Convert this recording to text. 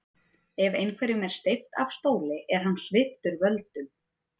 Ef einhverjum er steypt af stóli er hann sviptur völdum.